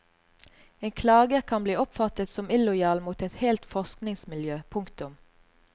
En klager kan bli oppfattet som illojal mot et helt forskningsmiljø. punktum